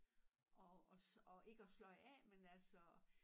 At også ikke at sløje af men altså